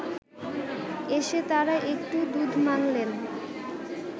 এসে তাঁরা একটু দুধ মাঙলেন